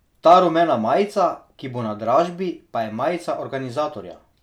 Ta rumena majica, ki bo na dražbi, pa je majica organizatorja.